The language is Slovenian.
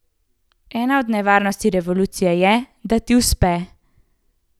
Ena od nevarnosti revolucije je, da ti uspe.